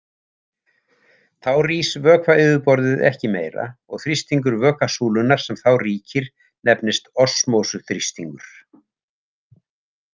Þá rís vökvayfirborðið ekki meira og þrýstingur vökvasúlunnar sem þá ríkir nefnist osmósuþrýstingur.